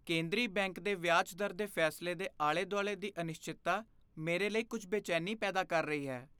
ਕੇਂਦਰੀ ਬੈਂਕ ਦੇ ਵਿਆਜ ਦਰ ਦੇ ਫੈਸਲੇ ਦੇ ਆਲੇ ਦੁਆਲੇ ਦੀ ਅਨਿਸ਼ਚਿਤਤਾ ਮੇਰੇ ਲਈ ਕੁੱਝ ਬੇਚੈਨੀ ਪੈਦਾ ਕਰ ਰਹੀ ਹੈ।